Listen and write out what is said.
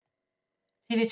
TV 2